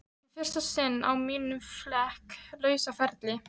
Í fyrsta sinn á mínum flekk lausa ferli.